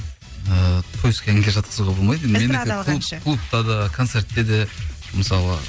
ііі тойский әнге жатқызуға болмайды енді менікі клубта да концертте де мысалы